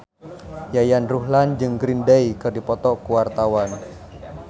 Yayan Ruhlan jeung Green Day keur dipoto ku wartawan